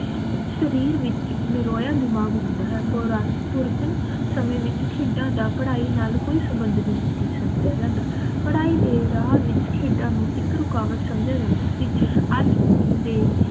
ਸ਼ਰੀਰ ਵਿਚ ਨਿਰੋਆ ਦਿਮਾਗ ਹੁੰਦਾ ਹੈ ਪੁਰਤਨ ਸਮਯ ਵਿਚ ਖੇਡਾਂ ਦਾ ਪੜ੍ਹਾਈ ਨਾਲ ਕੋਈ ਸੰਭੰਡ ਨਹੀਂ ਸੀ ਸਮਝਿਆ ਜਾਂਦਾ ਪੜ੍ਹਾਈ ਦੇ ਰਾਹ ਵਿਚ ਖੇਡਾਂ ਨੂੰ ਇਕ ਰੁਕਾਵਟ ਸਮਝਿਆ ਜਾਂਦਾ ਸੀ ਅਜ ਦੇ